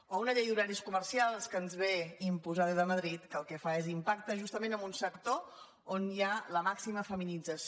o una llei d’horaris co·mercials que ens ve imposada des de madrid que el que fa és impactar justament en un sector on hi ha la màxima feminització